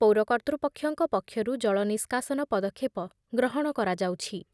ପୌର କର୍ତ୍ତୃପକ୍ଷଙ୍କ ପକ୍ଷରୁ ଜଳ ନିଷ୍କାସନ ପଦକ୍ଷେପ ଗ୍ରହଣ କରାଯାଉଛି ।